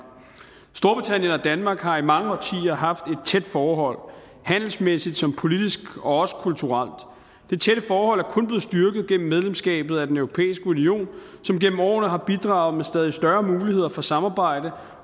danmark har i mange årtier haft et tæt forhold handelsmæssigt som politisk og også kulturelt det tætte forhold er kun blevet styrket gennem medlemskabet af den europæiske union som gennem årene har bidraget med stadig større muligheder for samarbejde